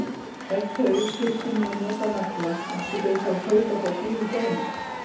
Ef þau þyrftu nú að nota nagla, áttu þau þá að kaupa þá dýrum dómum?